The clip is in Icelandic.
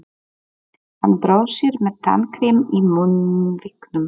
Hann brosir með tannkrem í munnvikunum.